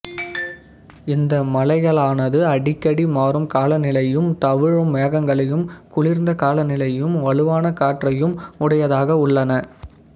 இந்த மலைகளானது அடிக்கடி மாறும் காலநிலையும் தவழும் மேகங்களையும் குளிர்ந்த காலநிலையும் வலுவான காற்றையும் உடையதாக உள்ளன